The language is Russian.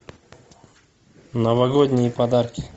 новогодние подарки